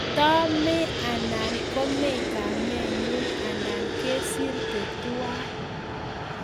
Kitamee, anan kome kamenyu anan kesirte tuwai